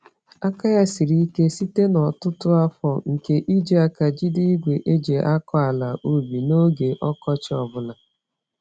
Aka ya siri ike site n'ọtụtụ afọ nke iji àkà jide igwe eji-akọ-àlà-ubi n'oge ọkọchị ọ bụla.